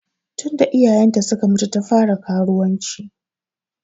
Tun da iyayen ta suka mutu ta fara karuwanci.